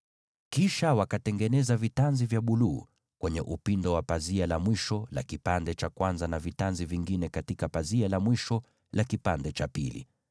Kisha wakatengeneza vitanzi vya kitambaa cha buluu kwenye upindo wa pazia la mwisho la fungu la kwanza, pia wakafanya vivyo hivyo na pazia la fungu la mwisho.